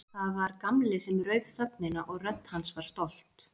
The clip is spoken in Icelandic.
Það var Gamli sem rauf þögnina og rödd hans var stolt.